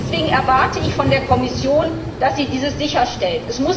Deswegen erwarte ich von der Kommission, dass sie dies sicherstellt.